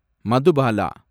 Madhubala